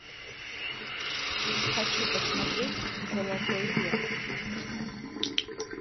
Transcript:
хочу посмотреть золотой век